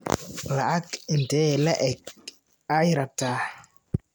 lacag intee lee eg ayaad rabtaa?